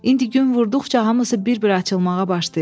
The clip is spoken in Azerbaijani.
İndi gün vurduqca hamısı bir-bir açılmağa başlayıb.